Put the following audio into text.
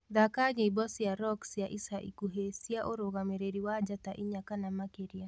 thaka nyĩmbo cĩa rock cĩa ica ĩkũhĩ cĩa urugamiriri wa njata ĩnya kana makiria